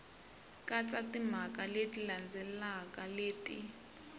katsa timhaka leti landzelaka leti